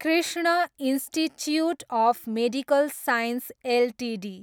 Krishna institute of medical science Ltd